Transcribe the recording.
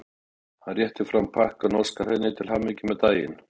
Hann réttir fram pakkann og óskar henni til hamingju með daginn.